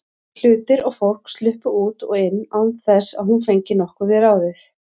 Hlutir og fólk sluppu út og inn án þess að hún fengi nokkuð við ráðið.